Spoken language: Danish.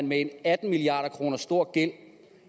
med en atten milliard kroner stor gæld